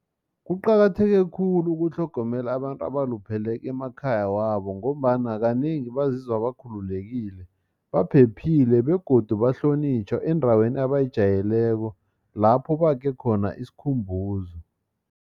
Kuqakatheke khulu ukutlhogomela abantu abalupheleko emakhaya wabo ngombana kanengi bazizwa bakhulekile baphephile begodu bahlonitjhwa endaweni abayijayeleko lapho bakhe khona isikhumbuzo.